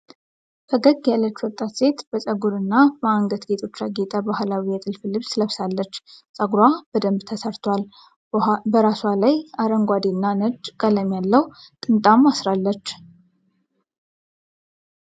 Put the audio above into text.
ፈገግ ያለች ወጣት ሴት በጠጕርና በአንገት ጌጦች ያጌጠ ባህላዊ የጥልፍ ልብስ ለብሳለች። ፀጉሯ በደንብ ተሠርቷል፤ በራሷ ላይ አረንጓዴና ነጭ ቀለም ያለው ጥምጣም አስራለች።